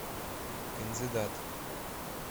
кандидат